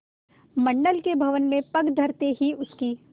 मंडल के भवन में पग धरते ही उसकी